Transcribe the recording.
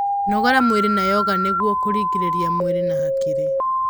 Nogora mwĩrĩ na yoga nĩguo kurungirirĩa mwĩrĩ na hakiri